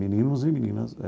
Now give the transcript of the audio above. Meninos e meninas.